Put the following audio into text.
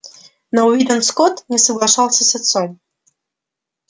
но уидон скотт не соглашался с отцом